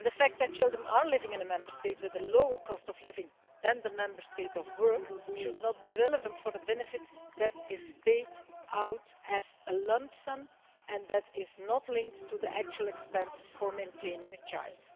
The fact that their children are living in a Member State with a lower cost of living than the Member State of work should not be relevant for the benefit that is paid out as a lump sum and that is not linked to the actual expense of maintaining a child.